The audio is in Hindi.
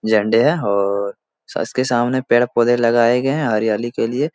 झंडे है और उसके सामने पेड़-पौधे लगाए गए हैं हरियाली के लिए।